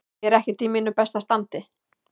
Ég er ekkert í mínu besta standi.